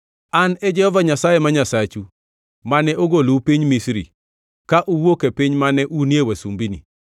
“An e Jehova Nyasaye ma Nyasachu, mane ogolou piny Misri, ka uwuok e piny mane unie wasumbini.